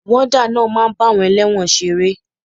Wọ́dà náà máa ń bá àwọn elẹ́wọ̀n ṣeré.